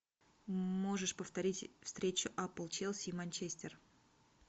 можешь повторить встречу апл челси и манчестер